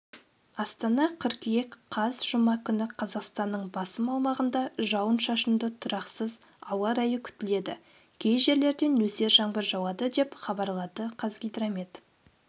астана қыркүйек қаз жұма күні қазақстанның басым аумағында жауын-шашынды тұрақсыз ауа райы күтіледі кей жерлерде нөсер жаңбыр жауады деп хабарлады қазгидромет